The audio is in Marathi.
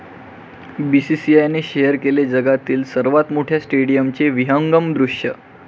बीसीसीआयने शेअर केले जगातील सर्वात मोठ्या स्टेडियमचे विहंगम दृश्य